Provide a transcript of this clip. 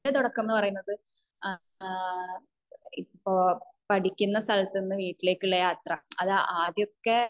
എന്റെ തുടക്കമാണ് പറയുന്നത് ഏഹ്ഹ് ഇപ്പോ പഠിക്കുന്ന സ്ഥലത്തുന്ന വീട്ടിലേക്കുള്ള യാത്ര അത് ആദ്യോക്കെ